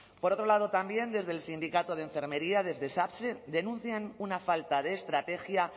por otro lado también desde el sindicato de enfermería desde satse denuncian una falta de estrategia